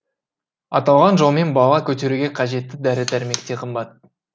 аталған жолмен бала көтеруге қажетті дәрі дәрмек те қымбат